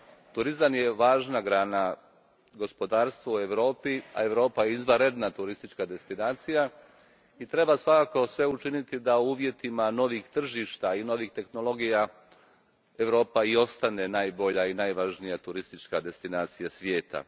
Turizam je važna grana gospodarstva u Europi, a Europa je izvanredna turistička destinacija i treba svakako sve učiniti da u uvjetima novih tržišta i novih tehnologija Europa i ostane najbolja i najvažnija turistička destinacija svijeta.